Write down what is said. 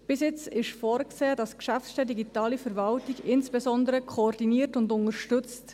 Bisher ist vorgesehen, dass die Geschäftsstelle Digitale Verwaltung insbesondere koordiniert und unterstützt.